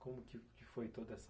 Como que, que foi toda essa...